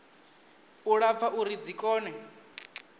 u lapfa uri dzi kone